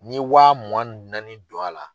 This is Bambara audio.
N'i ye wa mugan ni naani don a la.